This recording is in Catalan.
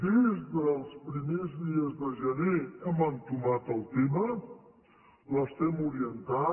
des dels primers dies de gener hem entomat el tema l’estem orientant